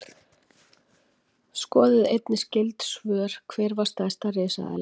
Skoðið einnig skyld svör: Hver var stærsta risaeðlan?